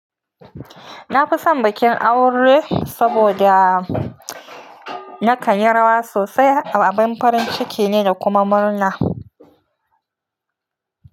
Na fi son bikin aure saboda nakan yi rawa sosai, abin farin ciki ne da kuma murna.